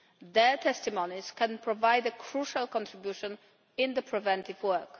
Their testimonies can provide a crucial contribution in preventive work.